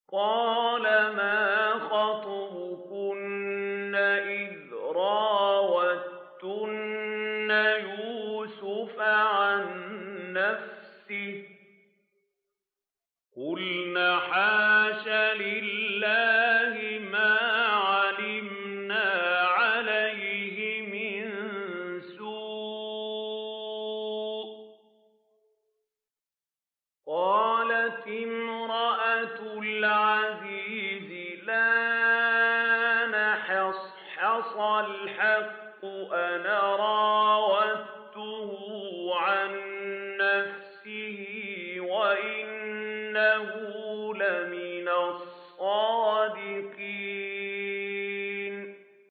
قَالَ مَا خَطْبُكُنَّ إِذْ رَاوَدتُّنَّ يُوسُفَ عَن نَّفْسِهِ ۚ قُلْنَ حَاشَ لِلَّهِ مَا عَلِمْنَا عَلَيْهِ مِن سُوءٍ ۚ قَالَتِ امْرَأَتُ الْعَزِيزِ الْآنَ حَصْحَصَ الْحَقُّ أَنَا رَاوَدتُّهُ عَن نَّفْسِهِ وَإِنَّهُ لَمِنَ الصَّادِقِينَ